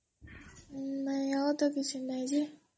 ନାଇଁ ଆଉ ତ କିଛି ନାଇଁ ଯେ